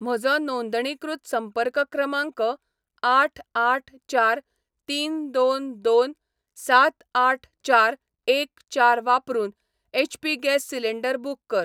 म्हजो नोंदणीकृत संपर्क क्रमांक आठ आठ चार तीन दोन दोन सात आठ चार एक चार वापरून एचपी गॅस सिलेंडर बुक कर.